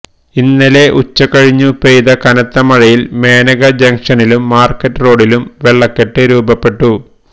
ഇന്നലെ ഉച്ചകഴിഞ്ഞു പെയ്ത കനത്ത മഴയില് മേനക ജംഗ്ഷനിലും മാര്ക്കറ്റ് റോഡിലും വെള്ളക്കെട്ട് രൂപപ്പെട്ടു